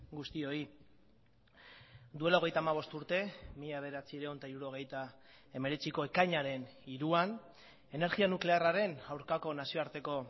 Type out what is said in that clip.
guztioi duela hogeita hamabost urte mila bederatziehun eta hirurogeita hemeretziko ekainaren hiruan energia nuklearraren aurkako nazioarteko